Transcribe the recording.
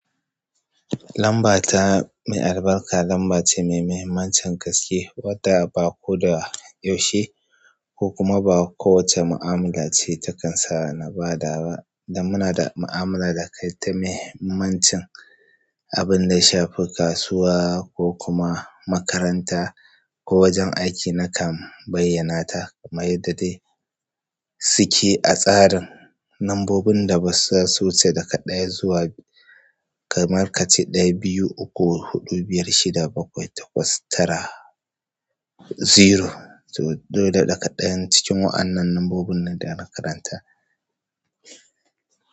Lamba ta mai albarka lamba ce mai mahimmancin gaske wadda ba koda yaushe ko kuma ba kowacce mu'amala ce takan sa na bada ba, dan muna da ma'amala da kai ta mahimmancin abin da ya shafi kasuwa ko kuma makaranta ko wajen aiki nakan bayyanata. Kamar yadda dai suke a tsarin nambobin da basu zasu wuce daga ɗaya zuwa biy. Kamar kace ɗaya, biyu, uku, huɗu, biyar, shida, bakwai, takwas, tara, zero. To dole daga ɗayan cikin wa'annan lambobin ne da na karanta.